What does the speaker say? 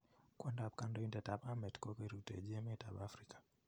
kwandap kandoitet ap amet kokorutechi emet ap afrika